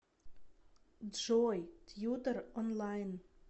джой тьютор онлайн